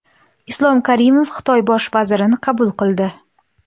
Islom Karimov Xitoy bosh vazirini qabul qildi.